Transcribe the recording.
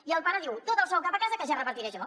i el pare diu tot el sou cap a casa que ja el repartiré jo